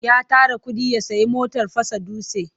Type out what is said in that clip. Ya tara kuɗi ya sayi motar fasa dutse.